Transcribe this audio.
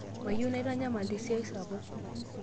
mayieu naitanyamal tesiai sapuk